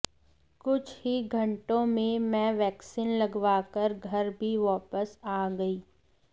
कुछ ही घंटों में मैं वैक्सीन लगवाकर घर भी वापस आ गईं